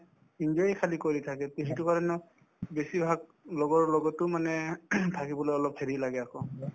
enjoy য়ে খালি কৰি থাকে তে সেইটো কাৰণেও বেছিভাগ লগৰ লগতো মানে থাকিবলৈ অলপ হেৰি লাগে আকৌ